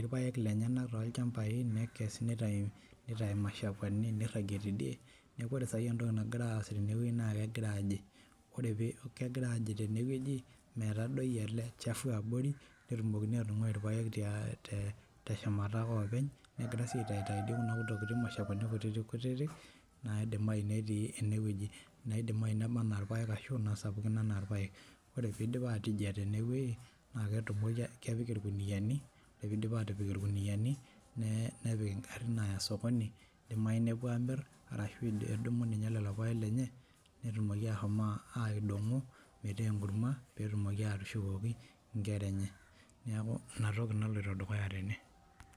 irpaek lenye tolchambai nekes niragie tindie neau ore entoki nagira aas na kegira aji tenewueji metadoi olchafu petumokini atungai teshumata openy negira aitau kuna kashakuani kutitik naidimayi netii enewueji ashu naba ana irpaek idipa atejia tenewueji na kepik irkuniani nepik ngarin aapik osokoni ashu edumu lolopaek netum ashomo aidongo metaa enkurma petumoki atushukoki nkera enye